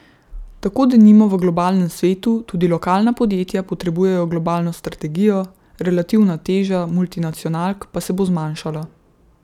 Tako denimo v globalnem svetu tudi lokalna podjetja potrebujejo globalno strategijo, relativna teža multinacionalk pa se bo zmanjšala.